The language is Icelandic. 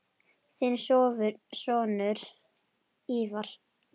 Þinn sonur, Ívar.